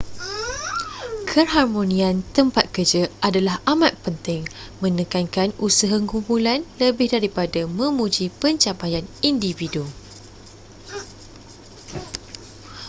keharmonian tempat kerja adalah amat penting menekankan usaha kumpulan lebih daripada memuji pencapaian individu